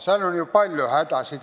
Seal on ju palju hädasid.